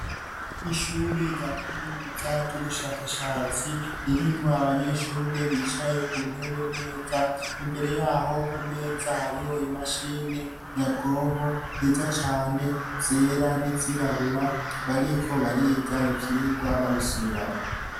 Ishure rya kaminuza ry'ubushakashatsi ririmwo abanyeshure bicaye ku ntebe neza ,imbere yaho ku meza hariho imashini nyabwoko nziza cane ,zera n'izirabura ,bariko bariga ivyigwa babisubiramwo.